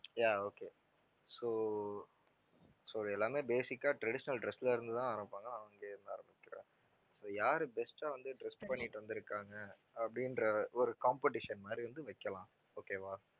yeah okay so so இது எல்லாமே basic ஆ traditional dress ல இருந்து தான் ஆரம்பிப்பாங்க அங்கேயே இருந்து ஆரம்பிக்கிறேன். so யாரு best ஆ வந்து dress பண்ணிட்டு வந்திருக்காங்க அப்படின்ற ஒரு competition மாதிரி வந்து வைக்கலாம் okay வா